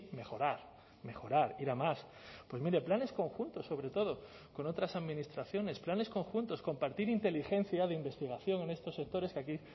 mejorar mejorar ir a más pues mire planes conjuntos sobre todo con otras administraciones planes conjuntos compartir inteligencia de investigación en estos sectores que aquí